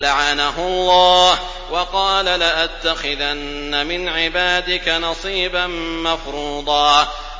لَّعَنَهُ اللَّهُ ۘ وَقَالَ لَأَتَّخِذَنَّ مِنْ عِبَادِكَ نَصِيبًا مَّفْرُوضًا